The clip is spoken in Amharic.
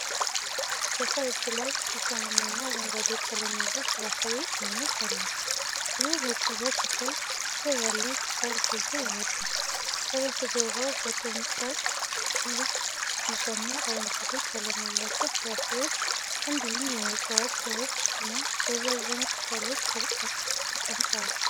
በሰው እጅ ላይ እሾሃማ እና አረንጓዴ ቀለም ያለው የፍራፍሬ አይነት አለ። ፍሬው በቅርበት ሲታይ፣ ስር ያለው ቅጠል ጎልቶ ይወጣል። ከበስተጀርባው በቅርጫት ውስጥ ቢጫና አረንጓዴ ቀለም ያላቸው ፍራፍሬዎች እንዲሁም የዕፅዋት ሥሮች እና ረዣዥም ቅጠሎች ተቀምጠዋል።